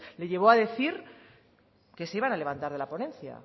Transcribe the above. le llevo a decir que se iban a levantar de la ponencia